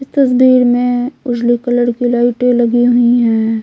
इस तस्वीर में उजली कलर की लाइटें लगी हुई है।